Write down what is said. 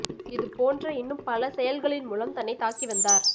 இது போன்ற இன்னும் பல செயல்களின் மூலம் தன்னை தாக்கி வந்தார்